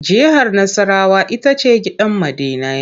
Jihar Nassarawa ita ce gidan ma'dinai.